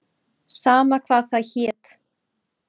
Sama hvað það hét.